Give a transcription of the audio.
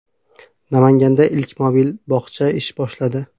Namanganda ilk mobil bog‘cha ish boshladi .